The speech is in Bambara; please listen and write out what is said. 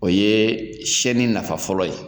O ye siyɛnni nafa fɔlɔ ye